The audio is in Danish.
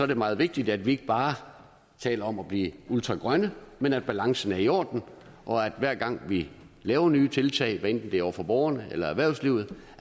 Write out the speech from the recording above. det meget vigtigt at vi ikke bare taler om at blive ultragrønne men at balancen er i orden hver gang vi laver nye tiltag hvad enten det er over for borgerne eller erhvervslivet